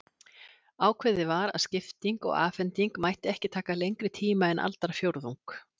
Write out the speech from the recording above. Ákveðið var að skipti og afhending mættu ekki taka lengri tíma en aldarfjórðung.